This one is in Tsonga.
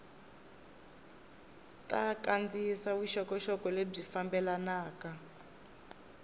ta kandziyisa vuxokoxoko lebyi fambelanaka